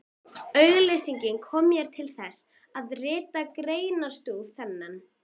Gesturinn sneri í hana hnakkanum og svaf vært.